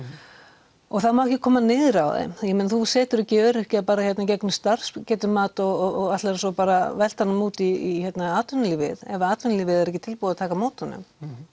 og það má ekki koma niður á þeim ég meina þú setur ekki öryrkja bara í gegnum starfsgetumat og ætlar svo bara velta honum út í atvinnulífið ef að atvinnulífið er ekki tilbúið að taka á móti honum